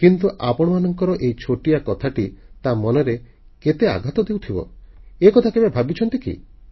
କିନ୍ତୁ ଆପଣଙ୍କର ଏହି ଛୋଟିଆ କଥାଟି ତା ମନରେ କେତେ ଆଘାତ ଦେଉଥିବ ଏକଥା କେବେ ଭାବିଛନ୍ତି କି